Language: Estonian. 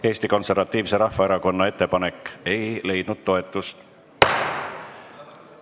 Eesti Konservatiivse Rahvaerakonna ettepanek ei leidnud toetust.